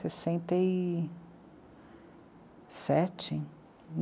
Sessenta e... sete?